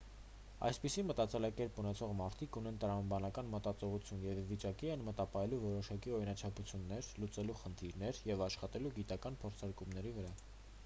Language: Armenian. այսպիսի մտածելակերպ ունեցող մարդիկ ունեն տրամաբանական մտածողություն և ի վիճակի են մտապահելու որոշակի օրինաչափություններ լուծելու խնդիրներ և աշխատելու գիտական փորձարկումների վրա